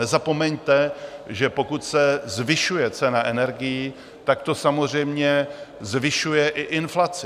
Nezapomeňte, že pokud se zvyšuje cena energií, tak to samozřejmě zvyšuje i inflaci.